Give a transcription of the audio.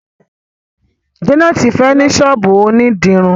Janet fè ní sọ́ọ̀bù òní dirun.